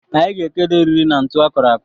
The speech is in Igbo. Anyị ga-ekedo eriri na ntụ akụrụ akụ